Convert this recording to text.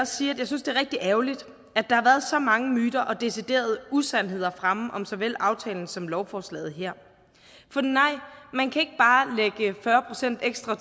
sige at jeg synes det er rigtig ærgerligt at der har været så mange myter og deciderede usandheder fremme om såvel aftalen som lovforslaget her for nej man kan ikke bare lægge fyrre procent ekstra